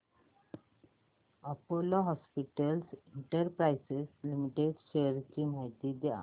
Apollo Hospitals Enterprise Limited shares ची माहिती द्या